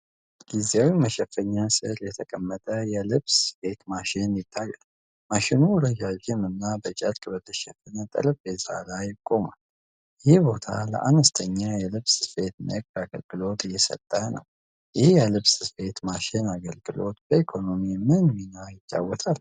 ጊዜያዊ መሸፈኛ ስር የተቀመጠ የልብስ ስፌት ማሽን ይታያል። ማሽኑ ረዣዥም እና በጨርቅ በተሸፈነ ጠረጴዛ ላይ ቆሟል። ይህ ቦታ ለአነስተኛ የልብስ ስፌት ንግድ አገልግሎት እየሰጠ ነው። ይህ የልብስ ስፌት ማሽን አገልግሎት በኢኮኖሚ ምን ሚና ይጫወታል?